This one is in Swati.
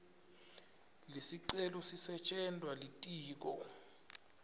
lesicelo sisetjentwa litiko